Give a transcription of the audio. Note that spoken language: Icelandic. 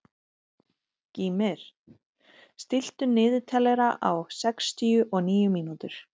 Gýmir, stilltu niðurteljara á sextíu og níu mínútur.